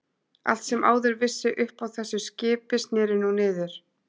Allt sem áður vissi upp á þessu skipi snéri nú niður.